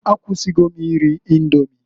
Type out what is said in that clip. Akwụsigo m iri Indomi.